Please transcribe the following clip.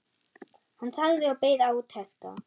Hann þagði og beið átekta.